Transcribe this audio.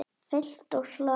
Fylgt úr hlaði